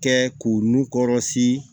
Kɛ k'u nun kɔrɔsi